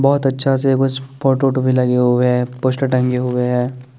बोहोत अच्छा से कुछ फोटो होटो भी लगे हुए है पोस्टर टंगे हुए है ।